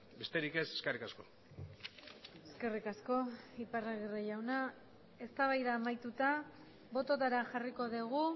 besterik ez eskerrik asko eskerrik asko iparragirre jauna eztabaida amaituta bototara jarriko dugu